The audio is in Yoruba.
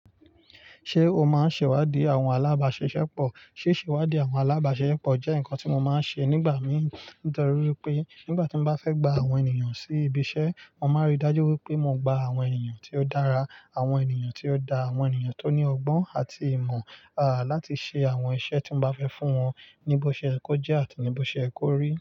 Ṣé o máa ń ṣèwádìí àwọn alábàáṣiṣẹ́pọ̀? Síṣéwádìí àwọn alábàáṣiṣẹ́pọ̀ jẹ́ ǹkan tí mo máa ń ṣe nígbà mìí. Ní torí wípé nígbà tí mo bá fẹ́ gba àwọn ènìyàn sí ibi iṣẹ́, mo máa rí i dájú wípé mo gba àwọn ènìyàn tí ó dára, àwọn ènìyàn tí ó da, àwọn ènìyàn tó ní ọgbọ́n àti ìmọ̀, aá láti ṣe àwọn iṣẹ́ tí hin bá fẹ́ fún wọn ní bó ṣe yẹ kó jẹ́ àti ní bó ṣe yẹ kó rí.